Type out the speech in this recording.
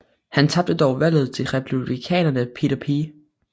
Han tabte dog valget til Republikaneren Peter P